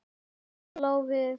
Líf hennar lá við.